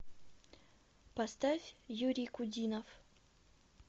поставь юрий кудинов